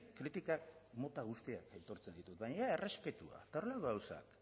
kritikak mota guztiak aitortzen ditut baina errespetua eta horrelako gauzak